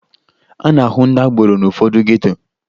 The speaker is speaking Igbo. A na-ahụ ndị agboro n'ụfọdụ geto